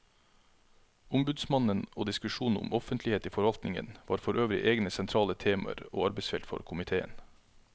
Ombudsmannen og diskusjonen om offentlighet i forvaltningen var forøvrig egne sentrale temaer og arbeidsfelt for komiteen.